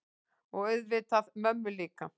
Og auðvitað mömmu líka.